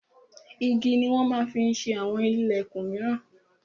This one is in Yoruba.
Igi ni wọn ma ń fi ṣe àwọn ìlẹ̀kun míràn.